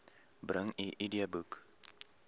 bring u idboek